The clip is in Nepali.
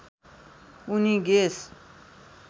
उनी गेस